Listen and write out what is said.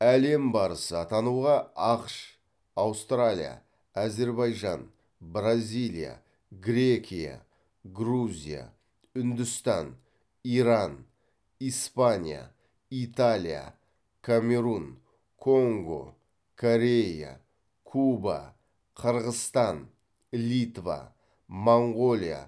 әлем барысы атануға ақш аустралия әзербайжан бразилия грекия грузия үндістан иран испания италия камерун конго корея куба қырғызстан литва моңғолия